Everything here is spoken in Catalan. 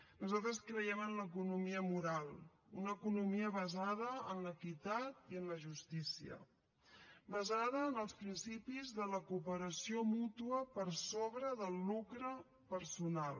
nosaltres creiem en l’economia moral una economia basada en l’equitat i en la justícia basada en els principis de la cooperació mútua per sobre del lucre personal